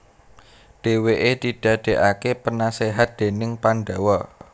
Dhèwèké didadèkaké penaséhat déning Pandawa